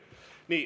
Nii.